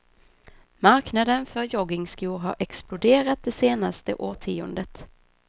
Marknaden för joggingskor har exploderat det senaste årtiondet.